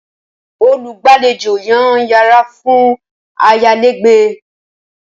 Olùgbàlejò yàn yara fun ayalegbe.